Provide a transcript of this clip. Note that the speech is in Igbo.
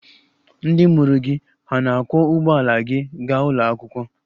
Ndị mụrụ gị hà na-akwọ ụgbọala gị gaa ụlọ akwụkwọ?